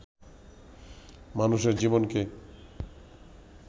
মানুষের জীবনকে